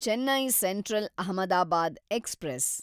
Chennai central Ahmedabad express